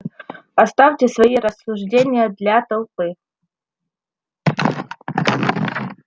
оставьте свои рассуждения для толпы